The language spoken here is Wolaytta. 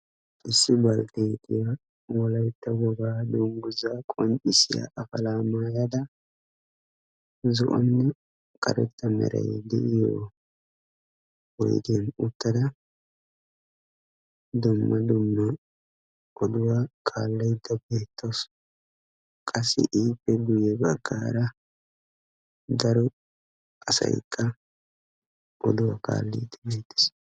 Issibay baltteetiya Wolaytta wogaa dungguzaa qoncissiya afalaa maayada zo'onne karetta meray de'iyo oydiyan uttada dumma dumma oduwa kaallaydda beettawusu. Qassi ippe guyye baggaara daro asaykka oduwaa kaalliiddi beettees.